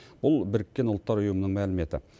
бұл біріккен ұлттар ұйымының мәліметі